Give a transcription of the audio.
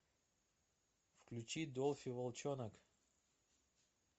включи дольфи волчонок